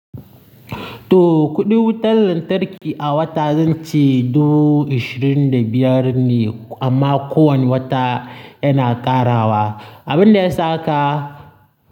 To, kuɗin wutar lantarki a wata zan ce dubu ishirin da biyar ne, amma ko wani wata yana ƙarawa. Abin da ya sa haka.